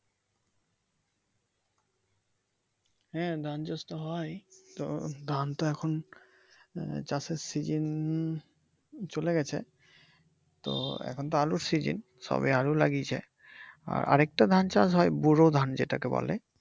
হ্যা ধান চাষ তো হয় তো ধান তো এখন চাষের সিজন এখন চলে গেছে তো এখন তো আলুর সিজন সবে আলু লাগিয়েছে । আর একটা ধান চাষ হয় ব্যুরো ধান যেটাকে বলে ।